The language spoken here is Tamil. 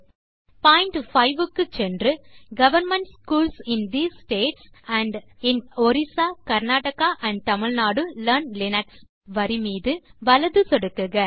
பாயிண்ட் 5 க்கு சென்று government schools in these states and in Orissa Karnataka and Tamil Nadu learn Linux வரி மீது வலது சொடுக்குக